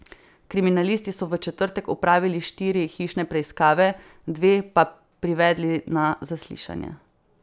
Kriminalisti so v četrtek opravili štiri hišne preiskave, dve pa privedli na zaslišanje.